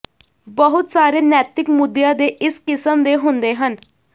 ਬਹੁਤ ਸਾਰੇ ਨੈਤਿਕ ਮੁੱਦਿਆਂ ਦੇ ਇਸ ਕਿਸਮ ਦੇ ਹੁੰਦੇ ਹਨ